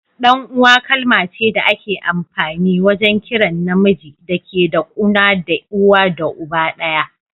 Dan uwa kalma ce da ake amfani wajen kiran na miji da ke da kuna da uwa da uba daya.